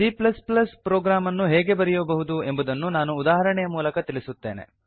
C program ಅನ್ನು ಹೇಗೆ ಬರೆಯಬಹುದು ಎಂಬುದನ್ನು ಒಂದು ಉದಾಹರಣೆಯ ಮೂಲಕ ತಿಳಿಸುತ್ತೇನೆ